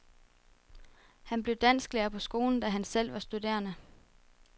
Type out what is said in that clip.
Han blev dansklærer på skolen, da han selv var studerende.